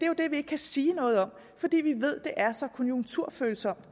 jo det vi ikke kan sige noget om fordi vi ved det er så konjunkturfølsomt